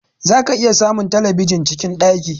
Za ka iya samun telebijin cikin ɗaki